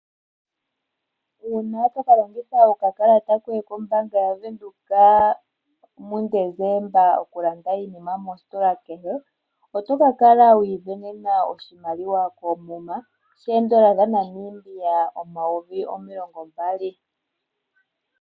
Uuna tokalongitha okakalata koye kombaaanga yaBank Windhoek muDecemba oku landa iinima mositola kehe, oto ka kala wiisindanena oshimaliwa koomuma, shoodola dhaNamiba omayovi omilongo mbali.